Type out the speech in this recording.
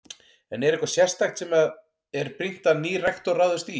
En er eitthvað sérstakt sem að er brýnt að nýr rektor ráðist í?